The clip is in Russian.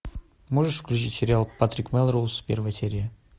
можешь включить сериал патрик мелроуз первая серия